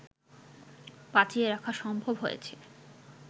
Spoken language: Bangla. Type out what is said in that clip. বাঁচিয়ে রাখা সম্ভব হয়েছে